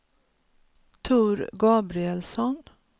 Tor Gabrielsson